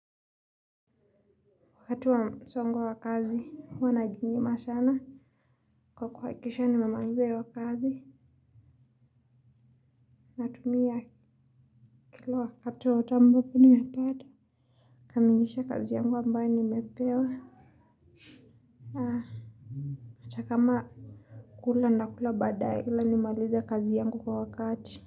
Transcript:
Wakati wa msongo wa kazi huwa najinyima sana kwa kuwakikisha nimemaliza hiyo kazi. Natumia kila wakati wowote ambopo nimepata. Kamilisha kazi yangu ambaye nimepewa. Haa ata kama kula ndakula badaya ila nimalize kazi yangu kwa wakati.